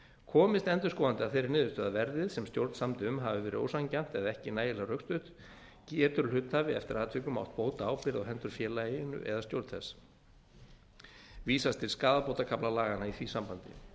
komist endurskoðandi að þeirri niðurstöðu að verðið sem stjórn samdi um hafi verið ósanngjarnt eða ekki nægilega rökstutt getur hluthafi eftir atvikum átt bótaábyrgð á hendur félaginu eða stjórn þess vísar til skaðabótakafla laganna í því sambandi